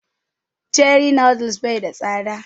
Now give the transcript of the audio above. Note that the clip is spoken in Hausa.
Cherie noodles bai da tsada